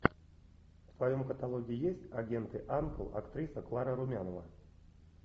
в твоем каталоге есть агенты анкл актриса клара румянова